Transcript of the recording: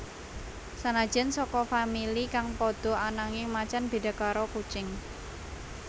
Sanajan saka famili kang padha ananging macan béda karo kucing